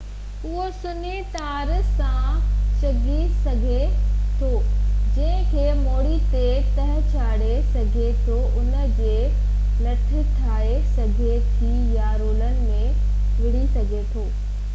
اهو سنهي تار سان ڇڪجي سگهي ٿو جنهن کي موڙي ۽ تهه چاڙِي سگهجي ٿو ان جي لٺ ٺاهي سگهجي ٿي يا رولن ۾ ويڙهي سگهجي ٿو